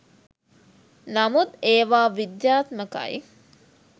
නමුත් ඒවා විද්‍යාත්මකයි